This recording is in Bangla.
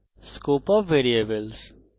scope of variables